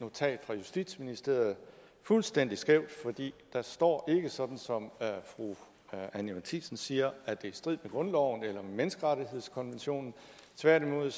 notat fra justitsministeriet fuldstændig skævt for der står ikke sådan som fru anni matthiesen siger at det er i strid med grundloven eller med menneskerettighedskonventionen tværtimod